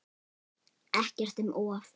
Ekkert um of.